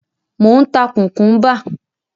Mò ń ta kùkúḿbà.